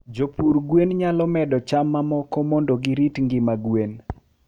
jopur gwen nyalo medo cham mammoko mondo girit ngima gwen